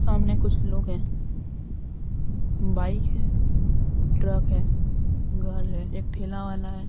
सामने कुछ लोग हैं बाइक है ट्रक है घर है एक ठेला वाला है।